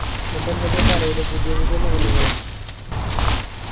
എന്നിട് എന്തൊക്കെയാ പറയല് പുതിയപുതിയ നിയമങ്ങളോ